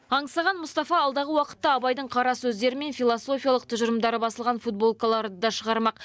аңсаған мұстафа алдағы уақытта абайдың қарасөздері мен философиялық тұжырымдары басылған футболкаларды да шығармақ